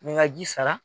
N bɛ n ka ji sara